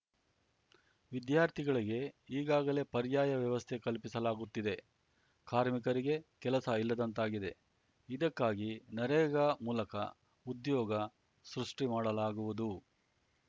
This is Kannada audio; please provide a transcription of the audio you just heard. ವಿದ್ಯಾರ್ಥಿಗಳಿಗೆ ಈಗಾಗಲೇ ಪರ್ಯಾಯ ವ್ಯವಸ್ಥೆ ಕಲ್ಪಿಸಲಾಗುತ್ತಿದೆ ಕಾರ್ಮಿಕರಿಗೆ ಕೆಲಸ ಇಲ್ಲದಂತಾಗಿದೆ ಇದಕ್ಕಾಗಿ ನರೇಗಾ ಮೂಲಕ ಉದ್ಯೋಗ ಸೃಷ್ಟಿಮಾಡಲಾಗುವುದು